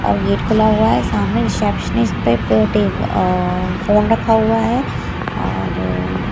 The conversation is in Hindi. गेट खुला हुआ है सामने से फोन रखा हुआ हैऔर --